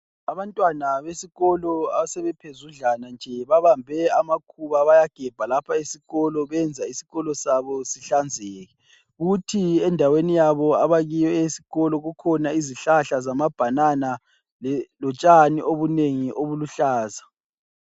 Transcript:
Abantwana besikolo asebephuzudlana nje babambe amakhuba bayagebha lapha esikolo benza isikolo sabo zihlanzeke, kuthi endaweni yabo abakiyo eyesikolo kukhona izihlahla zama banana lotshani obunengi obuluhlaza.